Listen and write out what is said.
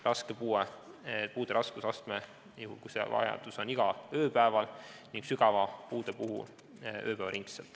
Raske puue määratakse juhul, kui sellist vajadust esineb igal ööpäeval, ning sügava puude korral on see vajadus ööpäevaringne.